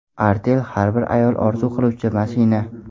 Artel: Har bir ayol orzu qiluvchi mashina.